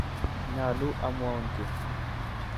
Nyaluu amwaun giy